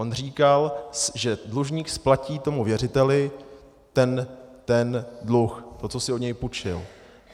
On říkal, že dlužník splatí tomu věřiteli ten dluh, to, co si od něj půjčil.